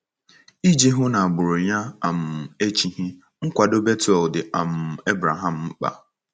Iji hụ na agbụrụ ya um echighị, nkwado Bethuel dị um Abraham mkpa.